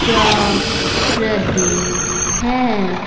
जा रहें हैं।